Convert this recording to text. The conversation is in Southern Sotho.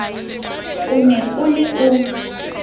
o ne o le o